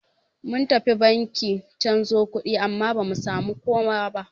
Mun tafi banki canzo kuɗi amma bamu samu kowa ba.